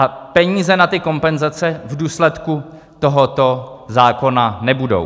A peníze na ty kompenzace v důsledku tohoto zákona nebudou.